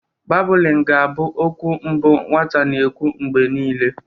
Babụlịn ga abụ okwu mbụ nwata na-ekwu mgbe niile.